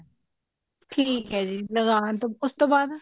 ਠੀਕ ਹੈ ਜੀ ਲਗਾਉਣ ਤੋਂ ਉਸ ਤੋਂ ਬਾਅਦ